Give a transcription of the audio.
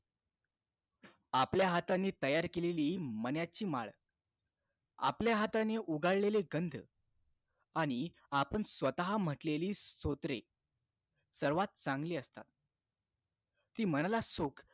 आपल्या हाताने तयार केलेली मण्याची माळ आपल्या हाताने उघडलेले गंध आणि आपण स्वतः म्हटलेली स्तोत्रे सर्वात चांगली असतात ती मनाला सुख